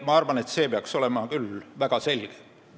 Ma arvan, et see peaks küll väga selge olema.